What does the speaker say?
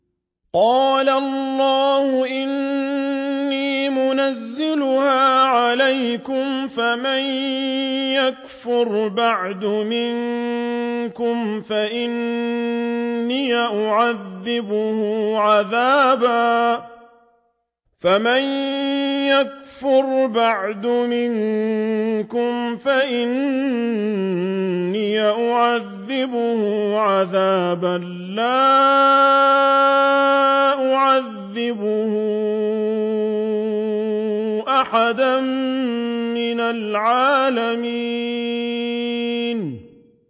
قَالَ اللَّهُ إِنِّي مُنَزِّلُهَا عَلَيْكُمْ ۖ فَمَن يَكْفُرْ بَعْدُ مِنكُمْ فَإِنِّي أُعَذِّبُهُ عَذَابًا لَّا أُعَذِّبُهُ أَحَدًا مِّنَ الْعَالَمِينَ